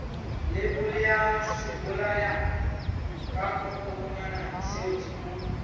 leibole ya sebolayakokwanyana seo o